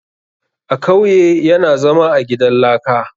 A kauye yana zama a gidan laka